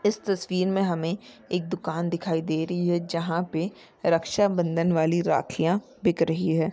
इस तस्वीर मे हमे एक दुकान दिखाई दे रही है जहा पे रक्षाबंधन वाली राखियाँ बिक रही है।